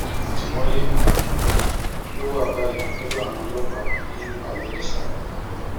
àtìmọlé um ló wà báyìí lọdọ àwọn ọlọpàá ní bayelísa